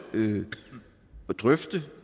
drøfte